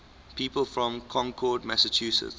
people from concord massachusetts